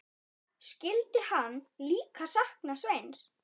Skyldi hann líka sakna Sveins?